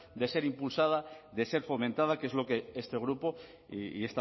de ser impulsada de ser fomentada que es lo que este grupo y